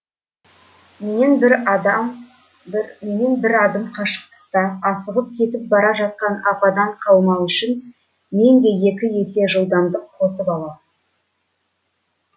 мен бір адам бір мен бір адым қашықтықта асығыс кетіп бара жатқан ападан қалмау үшін мен де екі есе жылдамдық қосып аламын